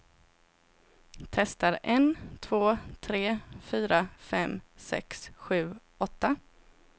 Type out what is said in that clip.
Testar en två tre fyra fem sex sju åtta.